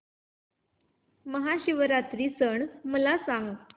महाशिवरात्री सण मला सांग